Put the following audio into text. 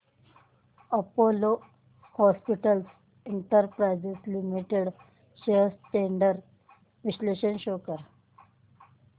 Apollo Hospitals Enterprise Limited shares trends चे विश्लेषण show कर